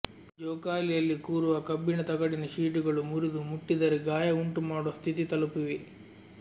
ಜೋಕಾಲಿಯಲ್ಲಿ ಕೂರುವ ಕಬ್ಬಿಣ ತಗಡಿನ ಶೀಟುಗಳು ಮುರಿದು ಮುಟ್ಟಿದರೆ ಗಾಯ ಉಂಟು ಮಾಡುವ ಸ್ಥಿತಿ ತಲುಪಿವೆ